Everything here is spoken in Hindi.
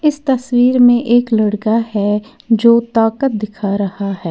इस तस्वीर में एक लड़का है जो ताकत दिखा रहा है।